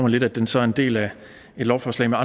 lidt at den så er en del af et lovforslag der